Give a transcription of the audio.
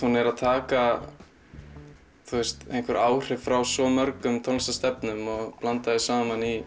hún er að taka áhrif frá svo mörgum tónlistarstefnum og blanda saman í